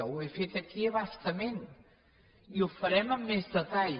ho he fet aquí a bastament i ho farem amb més detall